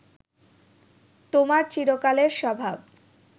তোমার চিরকালের স্বভাব